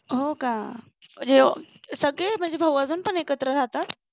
हो का म्हणजे सगळे म्हणजे भाऊ अजून पण एकत्र राहतात.